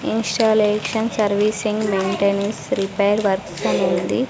Installation servicing maintenance repair works అనుంది.